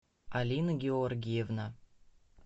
алина георгиевна